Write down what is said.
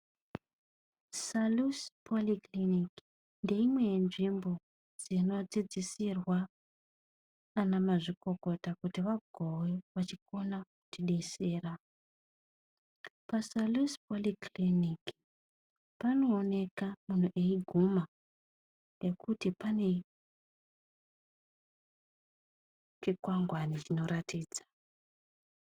Salusi pholikiriniki ndeimwe yenzvimbo dzinodzidzisirwa ana mazvikokota kuti vagove vachikona kutidesera, paSalusi phorikiriniki panooneka munhu eiguma nekuti pane chikwangwani chinoratidza.